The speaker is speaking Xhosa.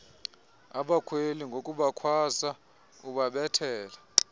abakhweli ngokubakhwaza ubabethele